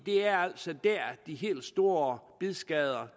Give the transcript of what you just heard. er altså der de helt store bidskader